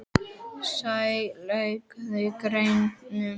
Sæi, lækkaðu í græjunum.